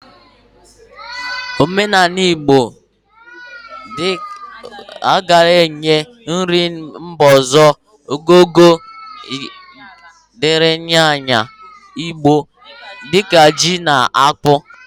Omenala Igbo agaghi enye nri mba ọzọ ogogo o nyere nri ala Igbo di ka ji na akpu